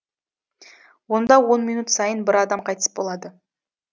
онда он минут сайын бір адам қайтыс болады